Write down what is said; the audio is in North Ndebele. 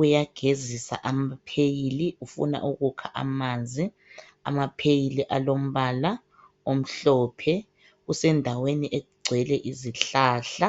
uyagezisa amapheyili ufuna ukukha amanzi. Amapheyili alombala omhlophe, usendaweni egcwele izihlahla.